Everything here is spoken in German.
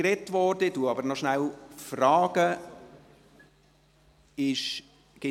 Ich frage aber trotzdem kurz, ob es dazu noch etwas zu sagen gibt.